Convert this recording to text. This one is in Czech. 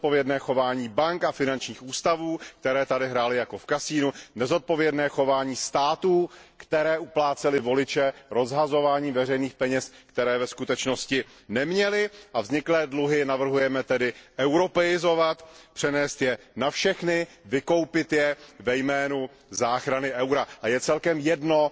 Nezodpovědné chování bank a finančních ústavů, které tady hrály jako v kasinu, nezodpovědné chování států, které uplácely voliče rozhazováním veřejných peněz, které ve skutečnosti neměly, a vzniklé dluhy navrhujeme europeizovat, přenést je na všechny, vykoupit je ve jménu záchrany eura a je celkem jedno,